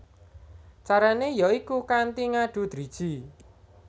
Carané ya iku kanthi ngadu driji